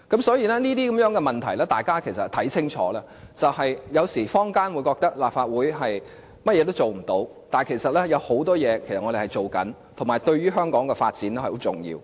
所以，大家可看清楚這些情況，有時坊間會認為立法會甚麼事也做不了，但其實我們正在做很多工作，同時亦對香港的發展是很重要。